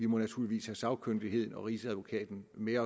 må naturligvis have sagkyndigheden og rigsadvokaten med